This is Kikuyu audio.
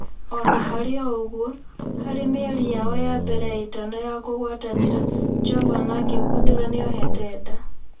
Ona-harĩoũguo, harĩ mĩeri yao ya mbere ĩtano ya kũgũatanĩra, Jovana akĩgũndũra nĩohete nda.